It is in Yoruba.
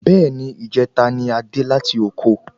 Bẹ́ẹ̀ni ijeta ni adé láti oko